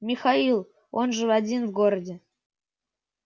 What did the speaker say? михаил он же один в городе